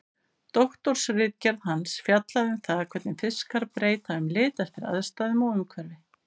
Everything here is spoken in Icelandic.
Doktorsritgerð hans fjallaði um það hvernig fiskar breyta um lit eftir aðstæðum og umhverfi.